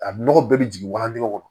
A nɔgɔ bɛɛ bɛ jigin walandigɛ kɔnɔ